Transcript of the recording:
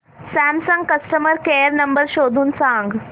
Samsung customer care number शोधून सांग